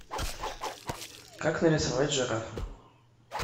как нарисовать жирафа